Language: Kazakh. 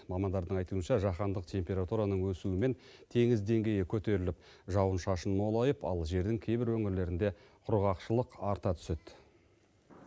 мамандардың айтуынша жаһандық температураның өсуімен теңіз деңгейі көтеріліп жауын шашын молайып ал жердің кейбір өңірлерінде құрғақшылық арта түседі